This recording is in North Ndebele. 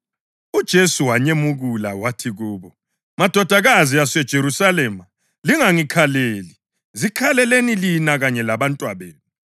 UJesu wanyemukula wathi kubo, “Madodakazi aseJerusalema, lingangikhaleli; zikhaleleni lina kanye labantwabenu.